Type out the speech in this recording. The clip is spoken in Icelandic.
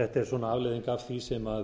þetta er svona afleiðing af því sem